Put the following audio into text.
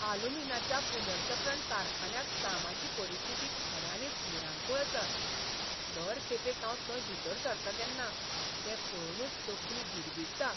आलुमीनाच्या पुनर्चक्रण कारखान्यांत कामाची परिस्थिती खऱ्यांनीच भिरांकूळ आसा. दर खेपेक हांव थंय भितर सरतां तेन्ना तें पळोवनच तकली भिरभिरता.